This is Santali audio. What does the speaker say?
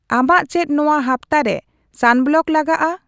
ᱟᱢᱟᱜ ᱪᱮᱫ ᱱᱚᱣᱟ ᱦᱟᱯᱛᱟᱨᱮ ᱥᱟᱱᱵᱞᱚᱠ ᱞᱟᱜᱟᱜᱼᱟ